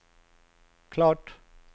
klart